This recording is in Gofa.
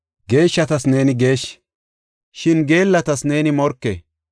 Geeshshatas neeni geeshshi; shin geellatas neeni morke.